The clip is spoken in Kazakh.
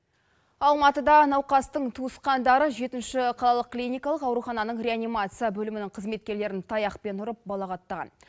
алматыда науқастың туысқандары жетінші қалалық клиникалық аурухананың реанимация бөлімінің қызметкерлерін таяқпен ұрып балағаттаған